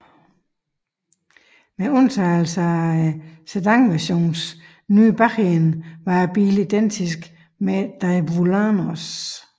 Med undtagelse af sedanversionens nye bagende var bilen identisk med Daewoo Lanos